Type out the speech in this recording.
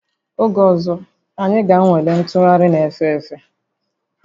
Oge ọzọ, anyị ga-anwale ntụgharị na-efe efe